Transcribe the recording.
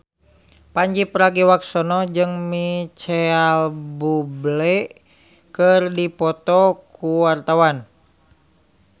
Pandji Pragiwaksono jeung Micheal Bubble keur dipoto ku wartawan